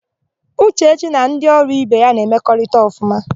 Ụchechi na ndị ọrụ ibe ya na-emekọrịta ọfụma.